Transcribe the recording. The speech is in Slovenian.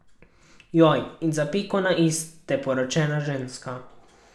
Joj, in za piko na i ste poročena ženska!